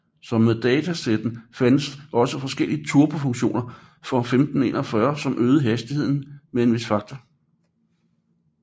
Som med datasetten fandtes også forskellige turbo funktioner for 1541 som øgede hastigheden med en vis faktor